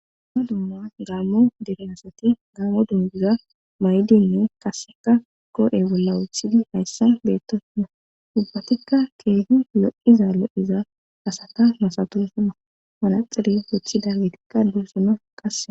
Dumma dumma gaammo direnasati gaammo dungiza may7dinne qasseka koo7e bolla wothidi hayssa beettosna dubbatikka keegi lo7iza lo7iza asata masato suma manaxire wothidi getikka dosona qase